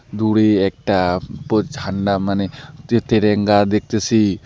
দূরে একটা প ঝান্ডা মানে যে তেরেঙ্গা দেখতেসি।